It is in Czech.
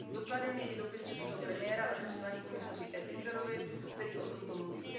Dokladem je i dopis českého premiéra adresovaný komisaři Oettingerovi, který o tomto mluví.